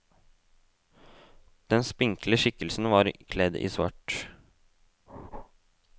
Den spinkle skikkelsen var kledd i svart.